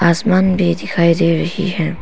आसमान भी दिखाई दे रही है।